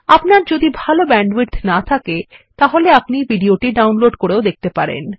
আপনার যদি ভাল ব্যান্ডউইডথ না থাকে তাহলে আপনি এটি ডাউনলোড করেও দেখতে পারেন